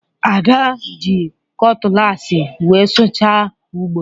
Ada ji kọtụlaasị wee sụchaa ugbo